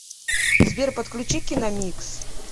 сбер подключи киномикс